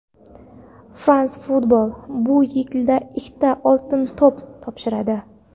"France Football" bu yil ikkita "Oltin to‘p" topshiradi!.